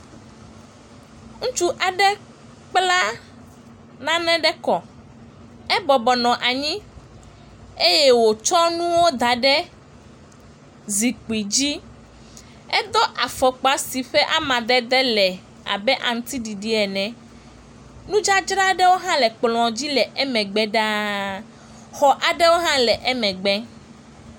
Ŋutsu aɖe kpla nane ɖe kɔ. Ebɔbɔ nɔ anyi eye wotsɔ nuwo da ɖe zikpui dzi. Edo afɔkpa si ƒe amadede le abe aŋuti ɖiɖi ene. Nudzadzra ɖewo hã le kplɔ̃ dzi le emegbe ɖaa. Xɔ aɖe hã le emegbe.